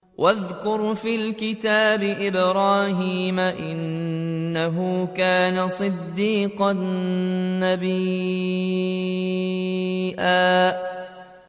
وَاذْكُرْ فِي الْكِتَابِ إِبْرَاهِيمَ ۚ إِنَّهُ كَانَ صِدِّيقًا نَّبِيًّا